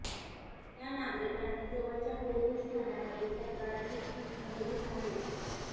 त्या नागरिकांनी जवळच्या पोलीस ठाण्यामध्ये तक्रारी नोंदवित आहेत